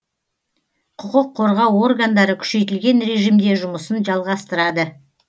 құқық қорғау органдары күшейтілген режимде жұмысын жалғастырады